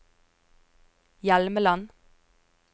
Hjelmeland